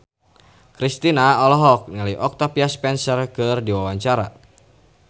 Kristina olohok ningali Octavia Spencer keur diwawancara